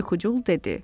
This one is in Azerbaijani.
Yuxucul dedi: